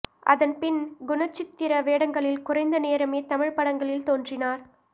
அதன் பின் குணச்சித்திர வேடங்களில் குறைந்த நேரமே தமிழ்ப் படங்களில் தோன்றினார்